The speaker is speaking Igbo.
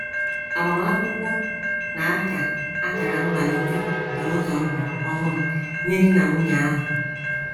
Agbamakwụkwọ na - aka akara mmalite nke ụzọ ndụ ọhụrụ nye di na nwunye ahụ.